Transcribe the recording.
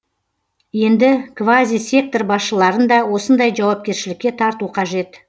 енді квазисектор басшыларын да осындай жауапкершілікке тарту қажет